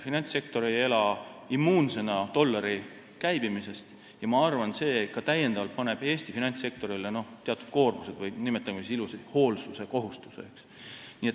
Finantssektor ei ela immuunsena dollari käibimisest ja ma arvan, see paneb Eesti finantssektorile teatud lisakoormuse või, nimetame siis ilusamini, hoolsuskohustuse.